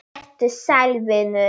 Vertu sæll, vinur.